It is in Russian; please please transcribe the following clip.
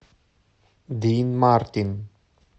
дин мартин